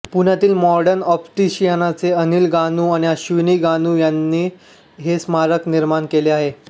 पुण्यातील मॉडर्न ऑप्टीशियनचे अनिल गानू आणि अश्विनी गानू यांनी हे स्मारक निर्माण केले आहे